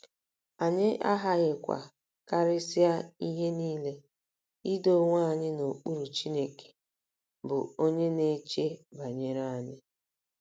Anyị aghaghịkwa, karịsịa ihe nile, ' ido onwe anyị n'okpuru Chineke, ' bụ́ onye na-eche banyere anyị.